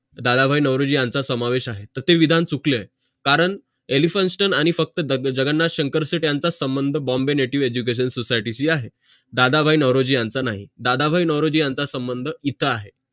दादाभाई नारोजी यांचा समावेश आहे तर ते विधान चुकले आहे कारण elphinstone आणि फक्त जगन्नाथ शंकर सेट यांचा संबंध bombay native education society शी आहे दादाभाई नारोजी यांचा नाही दादाभाई नारोजी यांचा संबंध इथं आहे